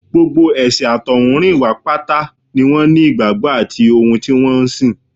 Gbogbo ẹ̀sìn àtọ̀húnrìnwá pátá ni wọ́n ní ìgbàgbọ́ àti ohun tí wọ́n ń sìn